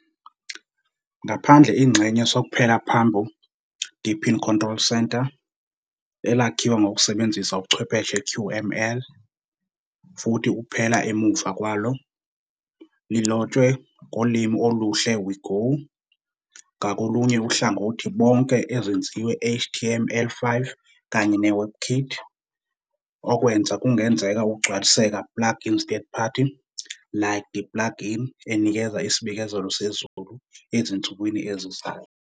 Ngaphandle ingxenye sokuphela phambi Deepin Control Center, elakhiwa ngokusebenzisa ubuchwepheshe QML, futhi ukuphela emuva kwalo, lilotshwe ngolimi oluhle we Go, ngakolunye uhlangothi bonke ezenziwe HTML5 kanye WebKit, okwenza kungenzeka ukugcwaliseka plugins third-party, like the plug-in enikeza isibikezelo sezulu ezinsukwini ezizayo.